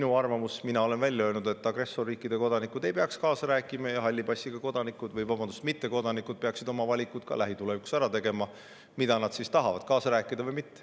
Oma arvamuse ma olen välja öelnud: agressorriikide kodanikud ei peaks kaasa rääkima ja halli passiga mittekodanikud peaksid ka lähitulevikus tegema ära valiku, mida nad siis tahavad, kaasa rääkida või mitte.